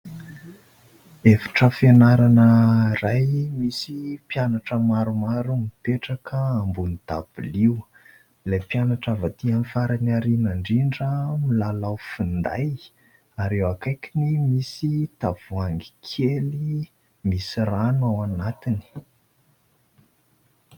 Efitra fianarana iray misy mpianatra maromaro mipetraka ambonin'ny dabilio. Ilay mpianatra avy aty amin'ny faran'ny aoriana indrindra, milalao finday ary eo akaikiny misy tavoahangy kely misy rano ao anatiny.